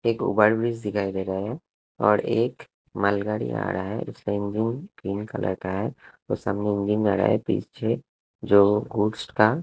एक over bridge दिखाई दे रहा है और एक मालगाड़ी आ रहा है उसका इंजन ग्रीन कलर का है और सामने इंजन मारा है पीछे जो गुड्स का--